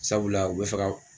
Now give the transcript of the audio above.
Sabula u bɛ fɛ ka.